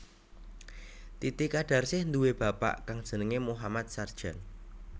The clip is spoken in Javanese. Titi kadarsih nduwé bapak kang jenengé Mohammad Sardjan